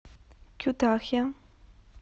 кютахья